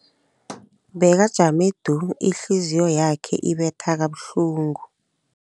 Bekajame du, ihliziyo yakhe ibetha kabuhlungu.